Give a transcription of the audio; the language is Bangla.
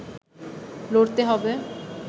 লড়তে হবে